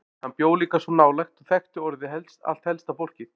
Hann bjó líka svo nálægt og þekkti orðið allt helsta fólkið.